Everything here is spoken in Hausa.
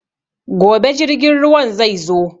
Gobe jirgin ruwan zai zo.